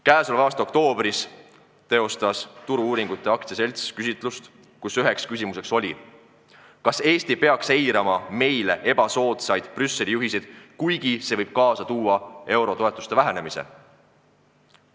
Tänavu oktoobris teostas Turu-uuringute AS küsitluse, kus üks küsimus oli: "Kas Eesti peaks eirama meile ebasoodsaid Brüsseli juhiseid, kuigi see võib kaasa tuua eurotoetuste vähendamise?